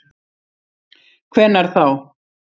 Hvenær þá?